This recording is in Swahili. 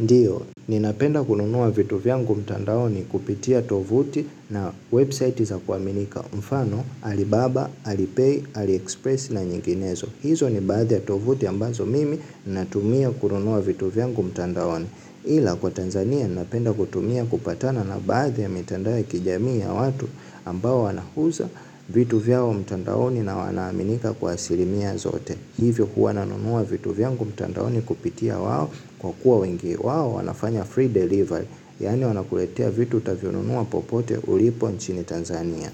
Ndiyo, ninapenda kununuwa vitu vyangu mtandaoni kupitia tovuti na website za kuaminika mfano, alibaba, alipay, aliexpress na nyinginezo. Hizo ni baadhe ya tovuti ambazo mimi natumia kununuwa vitu vyangu mtandaoni. Ila kwa Tanzania, ninapenda kutumia kupatana na baadhe ya mitandao kijami ya watu ambao wanahuza vitu vyao mtandaoni na wanaminika kwa asirimia zote. Hivyo huwa nanunua vitu vyangu mtandaoni kupitia wao kwa kuwa wengi wao wanafanya free delivery. Yani wanakuletea vitu utavionunua popote ulipo nchini Tanzania.